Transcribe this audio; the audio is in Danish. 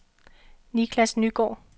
Nicklas Nygaard